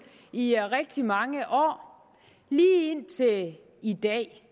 i rigtig mange år lige indtil i dag